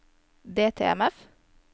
DTMF